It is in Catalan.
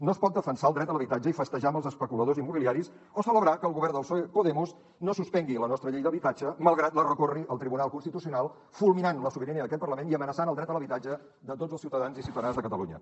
no es pot defensar el dret a l’habitatge i festejar amb els especuladors immobiliaris o celebrar que el govern del psoe podemos no suspengui la nostra llei d’habitatge malgrat que la recorri al tribunal constitucional fulminant la sobirania d’aquest parlament i amenaci el dret a l’habitatge de tots els ciutadans i ciutadanes de catalunya